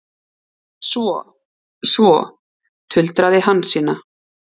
Svo, svo, tuldraði Hansína.